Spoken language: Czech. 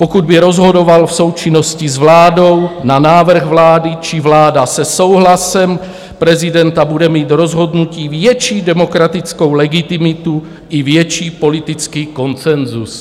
Pokud by rozhodoval v součinnosti s vládou na návrh vlády či vláda se souhlasem prezidenta, bude mít rozhodnutí větší demokratickou legitimitu i větší politický konsenzus.